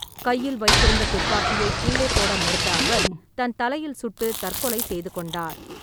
கையில் வைத்திருந்த துப்பாக்கியை கீழே போட மறுத்த அவர், தன் தலையில் சுட்டு தற்கொலை செய்து கொண்டார்.